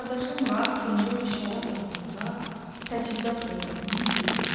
Qardaşı Murad Gəncə şərab zavodunda Təchizat şöbəsinin müdiri idi.